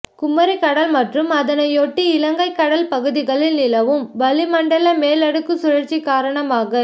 குமரிக்கடல் மற்றும் அதனையொட்டிய இலங்கை கடல் பகுதிகளில் நிலவும் வளிமண்டல மேலடுக்கு சுழற்சி காரணமாக